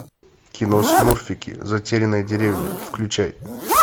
кино смурфики затерянная деревня включай